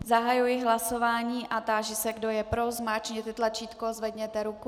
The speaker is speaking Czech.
Zahajuji hlasování a táži se, kdo je pro, zmáčkněte tlačítko, zvedněte ruku.